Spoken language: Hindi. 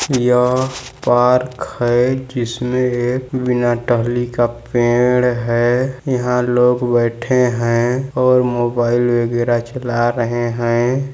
यह पार्क है जिसमे एक बिना टहली का पेड़ है यहाँ लोग बैठे है और मोबाईल वागेरह चला रहे है।